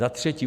Za třetí.